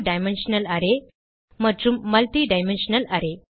two dimensional array மற்றும் multi dimensional array